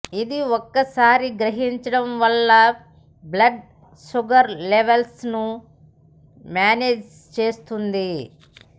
ఇది ఒక్కసారి గ్రహించడం వల్ల బ్లడ్ షుగర్ లెవల్స్ ను మ్యానేజ్ చేస్తుంది